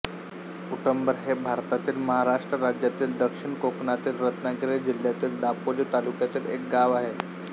उटंबर हे भारतातील महाराष्ट्र राज्यातील दक्षिण कोकणातील रत्नागिरी जिल्ह्यातील दापोली तालुक्यातील एक गाव आहे